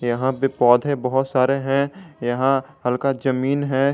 यहां पे पौधे बहुत सारे हैं यहां हल्का जमीन है।